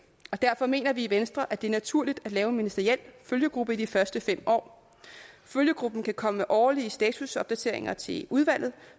og derfor mener vi i venstre at det er naturligt at lave en ministeriel følgegruppe i de første fem år følgegruppen kan komme med årlige statusopdateringer til udvalget